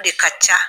O de ka ca